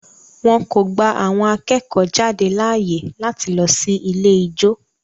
Wọn kò gba àwọn akẹ́kọ̀ọ́-jáde láàyè láti lọ sí ilé ijó.